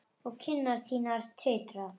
Og kinnar þínar titra.